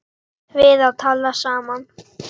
Guðjón og Louisa.